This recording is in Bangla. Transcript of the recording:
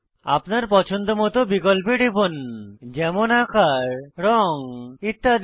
আপনার পছন্দমত বিকল্পে টিপুন যেমন আকার রঙ ইত্যাদি